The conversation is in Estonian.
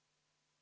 Suur tänu!